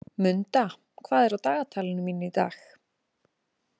Munda, hvað er á dagatalinu mín í dag?